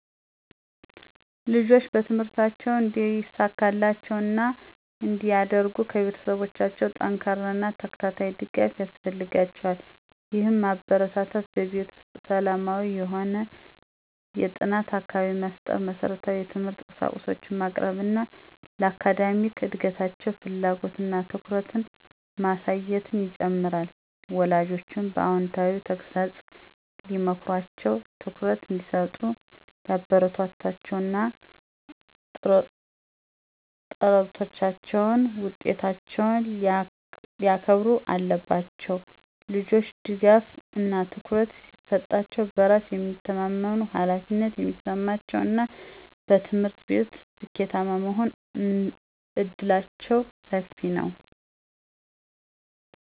ልጆች በትምህርታቸው እንዲሳካላቸው እና እንዲያድርጉ ከቤተሰቦቻቸው ጠንካራ እና ተከታታይ ድጋፍ ያስፈልጋቸዋል። ይህም ማበረታታት፣ በቤት ውስጥ ሰላማዊ የሆነ የጥናት አካባቢ መፍጠር፣ መሰረታዊ የትምህርት ቁሳቁሶችን ማቅረብ እና ለአካዳሚክ እድገታቸው ፍላጎት እና ትኩረትን ማሳየትን ይጨምራል። ወላጆችም በአዎንታዊ ተግሣጽ ሊመክሯቸው፣ ትኩረት እንዲሰጡ ሊያበረታቷቸው እና ጥረቶቻቸውን እና ውጤቶቻቸውን ሊያከንሩ አለባቸው። ልጆች ድጋፍ እና ትኩረት ሲሰጣሸው በራስ የሚተማመመኑ፣ ኃላፊነት የሚሰማቸው እና በትምህርት ቤት ስኬታማ የመሆን እድላቸው ሰፊ ነው።